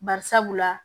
Bari sabula